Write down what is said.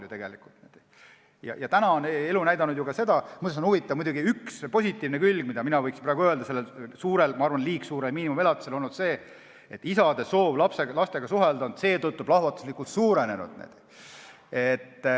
Muuseas on huvitav, et selle liiga suure miinimumelatise üks positiivne külg, mille mina praegu võin välja tuua, on see, et isade soov lastega suhelda on seetõttu plahvatuslikult suurenenud.